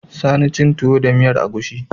Sani cin tuwo da miyar agushi